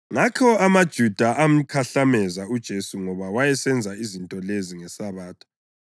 Ngakho amaJuda amkhahlameza uJesu ngoba wayesenza izinto lezi ngeSabatha.